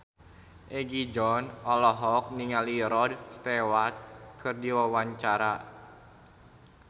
Egi John olohok ningali Rod Stewart keur diwawancara